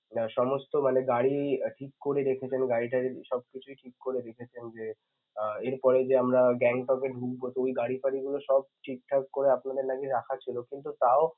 মা~ সমস্ত মানে গাড়ি~ ঠিক করে রেখেছেন গাড়িটারি সবকিছুই ঠিক করে রেখেছেন যে আহ এরপরেই যে আমরা Gangtok কে ঢুকবো তো ওই গাড়িটারি গুলো সব ঠিকঠাক করে আপনাদের নাকি রাখছিল কিন্তু তাও